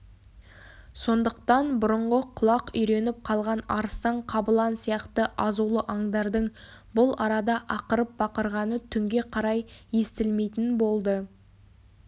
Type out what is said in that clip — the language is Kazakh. сондықтан бұрынғы құлақ үйреніп қалған арыстан қабылан сияқты азулы аңдардың бұл арада ақырып-бақырғаны түнге қарай естілмейтін болды